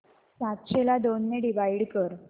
सातशे ला दोन ने डिवाइड कर